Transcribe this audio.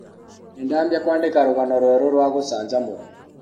Nĩdambia kwandĩka rũgano rwerũ rwa gũcanjamũra.